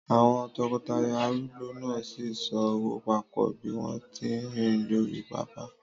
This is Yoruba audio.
Àwọn tọkọtaya arúgbó náà sì ń so ọwọ́ papọ̀ bí wọ́n tí ń rìn lórí pápá.